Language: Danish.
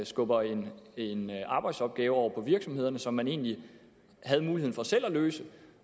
skubber en en arbejdsopgave over på virksomhederne som man egentlig havde muligheden for selv at løse